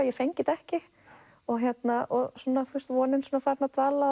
ég fengi þetta ekki og og vonin farin að dala